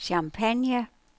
Champagne